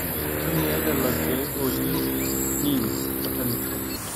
ntumia lelo keek ooji neem botanical